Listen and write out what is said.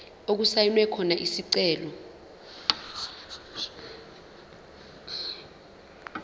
okusayinwe khona isicelo